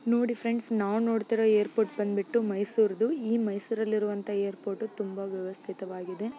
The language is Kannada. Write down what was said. ನೋಡಿ ಫ್ರೆಂಡ್ಸ್ ನಾವು ನೋಡ್ತಿರೋ ಏರ್ಪೋರ್ಟ್ ಬಂದ್ಬಿಟ್ಟು ಮೈಸೂರ್ ದು ಈ ಮೈಸೂರಲ್ಲಿರುವಂತಹ ಏರ್ಪೋರ್ಟ್ ತುಂಬಾ ವ್ಯವಸ್ಥಿತ ವಾಗಿದೆ.